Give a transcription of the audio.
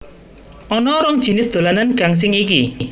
Ana rong jinis dolanan gangsing iki